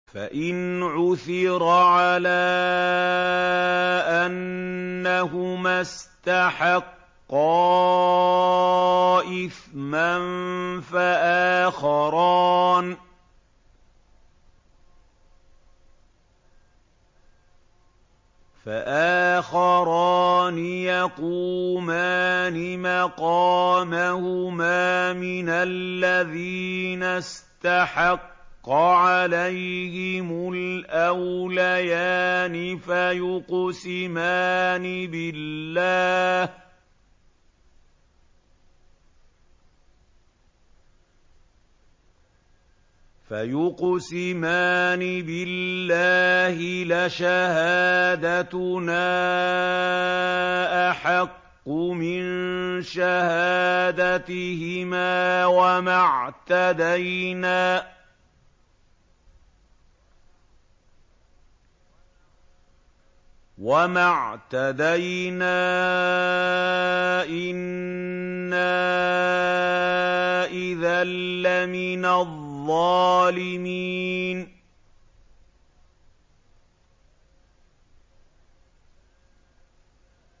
فَإِنْ عُثِرَ عَلَىٰ أَنَّهُمَا اسْتَحَقَّا إِثْمًا فَآخَرَانِ يَقُومَانِ مَقَامَهُمَا مِنَ الَّذِينَ اسْتَحَقَّ عَلَيْهِمُ الْأَوْلَيَانِ فَيُقْسِمَانِ بِاللَّهِ لَشَهَادَتُنَا أَحَقُّ مِن شَهَادَتِهِمَا وَمَا اعْتَدَيْنَا إِنَّا إِذًا لَّمِنَ الظَّالِمِينَ